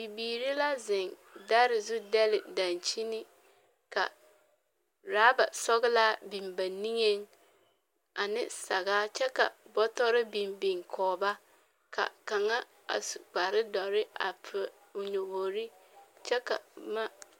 Bibiiri la zeŋ dare zuŋ dɛle dankyini, ka raba sɔglaa biŋ ba niŋeŋ ane sagaa kyɛ ka bɔtɔre biŋ biŋ kɔge ba. Ka kaŋa a su kparre dɔre a po o nyobori kyɛ ka boma.